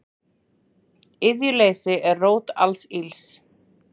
Iðjuleysi er rót alls ills.